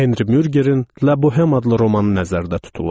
Henri Mürgerin "La Boheme" adlı romanı nəzərdə tutulur.